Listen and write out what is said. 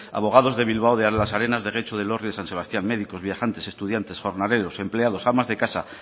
abogados de bilbao de las arenas de getxo de elorrio y de san sebastián médicos viajantes estudiantes jornaleros empleados amas de casa